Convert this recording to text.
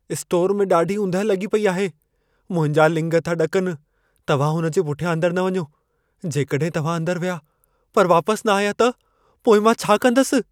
Store में ॾाढी ऊंदहि लॻी पई आहे। मुंहिंजा लिङ था ॾकनि। तव्हां हुन जे पुठियां अंदर न वञो। जेकॾहिं तव्हां अंदरि विया, पर वापसि न आया त, पोइ मां छा कंदसि?